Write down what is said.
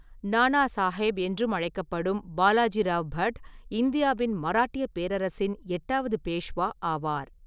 நானா சாஹேப் என்றும் அழைக்கப்படும் பாலாஜிராவ் பட், இந்தியாவின் மராட்டியப் பேரரசின் எட்டாவது பேஷ்வா ஆவார்.